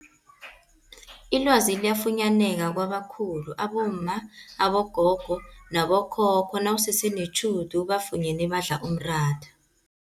Ilwazi liyafunyaneka kwabakhulu abomma, abogogo nabo khokho nawusese netjhudu ubafunyene badla umratha.